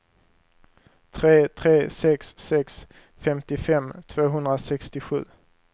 tre tre sex sex femtiofem tvåhundrasextiosju